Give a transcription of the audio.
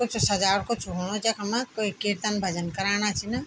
कुछ सजावट कुछ होणु च यखम कुई कीर्तन भजन कराणा छन।